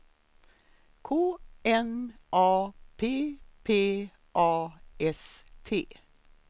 K N A P P A S T